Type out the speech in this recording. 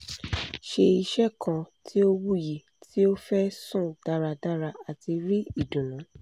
ṣe iṣẹ kan ti o wuyi ti o fẹ sun daradara ati ri idunnu